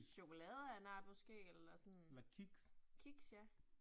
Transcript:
Chokolade af en art måske eller sådan. Kiks ja